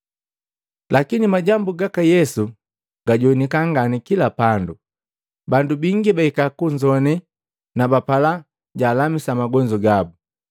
Lakini majambu gaka Yesu gajoanika ngani kila pandu. Bandu bingi bahika kunzoane na bapala jaalamisa magonzu gabu.